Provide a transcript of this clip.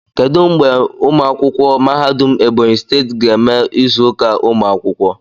Kedu mgbe ụmụ akwụkwọ mahadum Ebonyi steeti ga-eme izuka umu akwukwo?